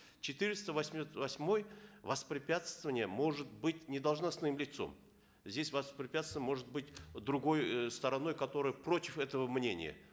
четыреста восьмой воспрепятствование может быть не должностным лицом здесь воспрепятствование может быть другой э стороной которая против этого мнения